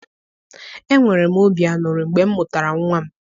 Enwere m obi aṅụrị mgbe m mụtara nwa m.